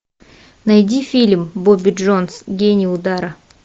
найди фильм бобби джонс гений удара